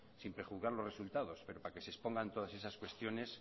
sin prejuzgar los resultados pero para que se expongan todas esas cuestiones